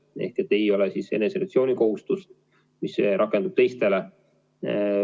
Neil ei ole siis eneseisolatsiooni kohustust, mis rakendub teistele.